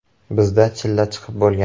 Bizda chilla chiqib bo‘lgan.